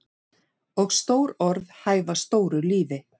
Og stór orð hæfa stóru lífi.